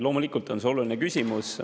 Loomulikult on see oluline küsimus.